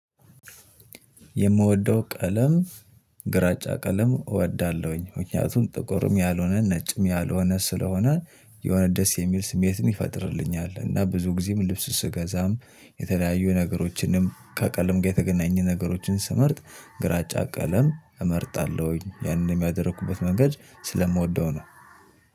የምወደው ቀለም ግራጫ ቀለም እወዳለሁኝ ምክንያቱም ጥቁርም ያልሆነ ነጭም ያልሆነ ስለሆነ የሆነ ደስ የሚል ስሜትን ይፈጥርልኛል እና ብዙ ጊዜም ልብስ ስገዛም የተለያዩ ነገሮችንም ከቀለም ጋር የተገናኘ ነገሮችን ስመርጥ ግራጫ ቀለም እመርጣለሁኝ ያንን ያደረግሁበት መንገድ ስለምወደው ነው።